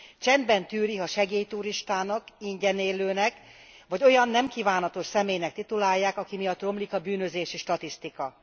Csendben tűri, ha segélyturistának, ingyenélőnek vagy olyan, nem kívánatos személynek titulálják, aki miatt romlik a bűnözési statisztika.